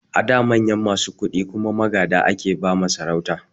A da manyan masu kuɗi kuma magada ake ba ma sarauta